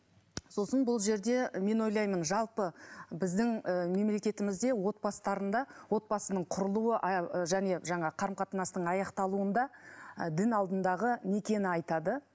сосын бұл жерде мен ойлаймын жалпы біздің ы мемлекетімізде отбасыларында отбасының құрылуы және жаңа қарым қатынастың аяқталуында дін алдындағы некені айтады